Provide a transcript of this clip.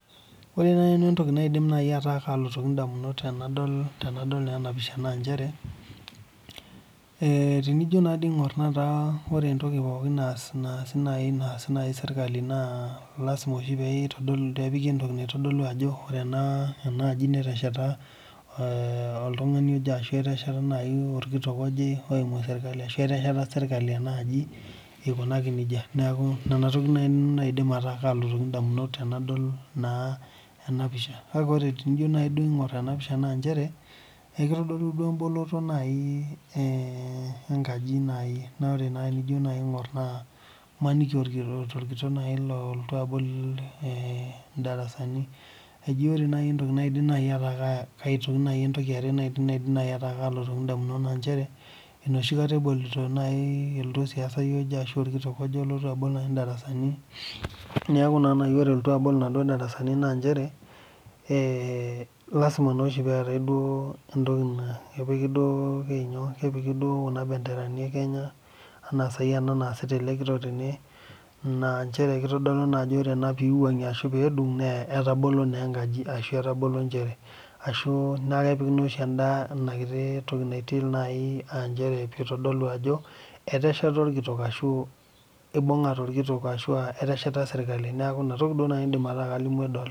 Ore naaji nanu entoki naidim alotoki edamunot tenadol ena pisha naa njere tenijo naa aing'or ore entoki pookin naasi sirkali na lasima oshi pee epiki entoki naitodulu Ajo ore ena aji netesheta oltung'ani oje ashu etesheta orkitok oje oyimu sirkali ashu etesheta sirkali enaaji eikunaki nejia neeku enatoki naaji naidim ataa kalotoki nanu ndamunot Tenadol naa ena pisha kake tenijo duo aing'or ena pisha naa njere eikitodolu duo eboloto enkaji naaji tenijo aing'or emaniki aa orkitok lolotu abol darasani eji ore najii entoki yare naaji naidim ataa kalotu edamunot naa njere enoshi kataa elotu osiasai oje ashu orkitok abol darasani neeku naaji ore egira alotu abol naaduo darasani naa njere lasima peetai entoki kepiki duo Kuna benderani Kenya ena eniasita ele kitok tene naa njere ore pee ewuangie ena ashu pee edug naa etabolo naa enkaji ashu etabolo Nkera ashu naa kepiki ena kiti toki natii aa njere pee eitodolu Ajo etesheta orkitok ashu eibungate orkitok ashua eteshita sirkali neeku enatoki naaji aidim ataa kalimu